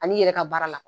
Ani i yɛrɛ ka baara la